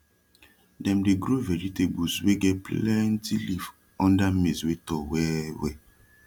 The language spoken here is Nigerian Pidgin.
dem dey grow vegetables wey get plenti leaf unda maize wey tall welwel